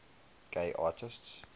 gay artists